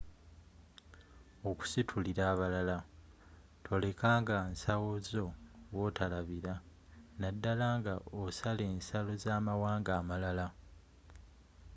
okusitulila abalala toleka nga nsawo zo wotolabira naddala nga osala ensalo z'amawanga amalala